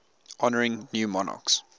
honouring new monarchs